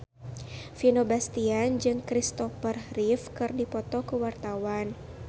Vino Bastian jeung Kristopher Reeve keur dipoto ku wartawan